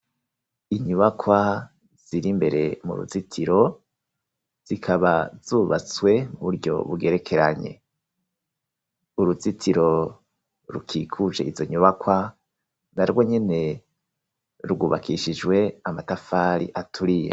Inyubakwa ziri mbere mu ruzitiro zikaba zubatswe Ku buryo bugerekeranye, uruzitiro rukikuje izo nyubakwa na rwo nyene rwubakishijwe amatafari aturiye.